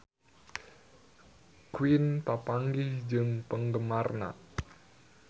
Queen papanggih jeung penggemarna